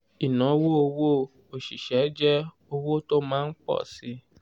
ìnáwó owó òṣìṣẹ́ jẹ́ owó tó máa ń pọ̀ síi.